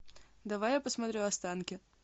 давай я посмотрю останки